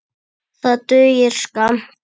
Það dugir skammt.